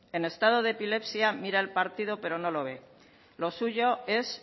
en estado de epilepsia mira al partido pero no lo ve lo suyo es